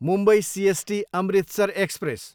Mumbai CST, Amritsar express